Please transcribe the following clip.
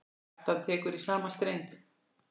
Kjartan tekur í sama streng.